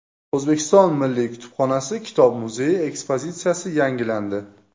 O‘zbekiston Milliy kutubxonasi kitob muzeyi ekspozitsiyasi yangilandi.